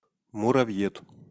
муравьед